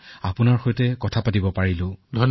চেনেলসমূহে দেখুৱাইছে আৰু সেইবাবে জনসাধাৰণে সজাগ হৈছে আৰু